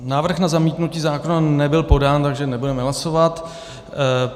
Návrh na zamítnutí zákona nebyl podán, takže nebudeme hlasovat.